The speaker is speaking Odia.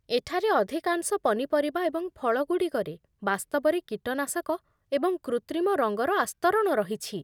ଏଠାରେ ଅଧିକାଂଶ ପନିପରିବା ଏବଂ ଫଳଗୁଡ଼ିକରେ ବାସ୍ତବରେ କୀଟନାଶକ ଏବଂ କୃତ୍ରିମ ରଙ୍ଗର ଆସ୍ତରଣ ରହିଛି।